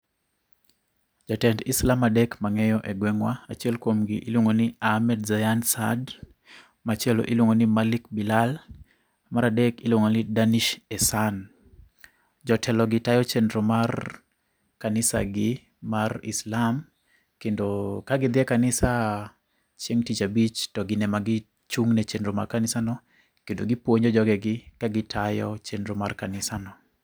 Jatend Islam adek mang'eyo e gweng'wa achiel kuomgi iluongo ni Ahmed Zayan Saad. Machielo iluongo ni Malik Bilhal. Mar dek iluongo ni Danish Esan. Jotelo gi tayo chendro mar kanisa gi mar Islam kendo ka gidhi e kanisa chieg' tich abich, to gin ema gichung' ne chenro mar kanisano, kendo gipuonjo jogegi ka gitayo chendro mar kanisano